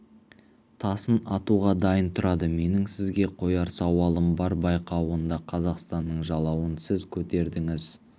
тасын атуға дайын тұрады менің сізге қояр сауалым бар байқауында қазақстанның жалауын сіз көтердіңіз